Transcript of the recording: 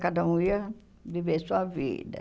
Cada um ia viver sua vida.